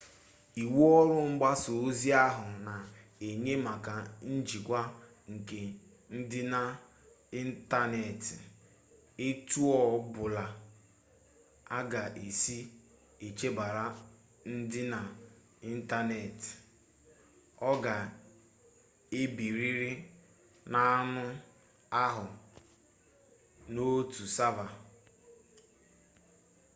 iwu ọrụ mgbasa ozi ahụ na-enye maka njikwa nke ndịna ịntaneetị etu ọ bụla a ga-esi echebara ndịna ịntaneetị ọ ga-ebirịrị n'anụ ahụ n'otu sava